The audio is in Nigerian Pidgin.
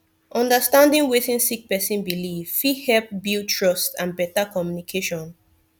understanding wetin sik person biliv fit hep build trust and better communication